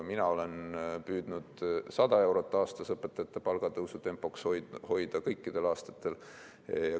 Mina püüdsin 100 eurot aastas õpetajate palgatõusu tempot kõikidel aastatel hoida.